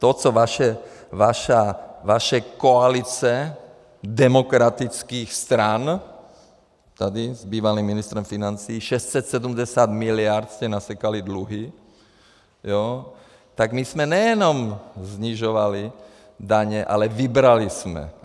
To, co vaše koalice demokratických stran tady s bývalým ministrem financí, 670 miliard jste nasekali dluhy, tak my jsme nejenom snižovali daně, ale vybrali jsme.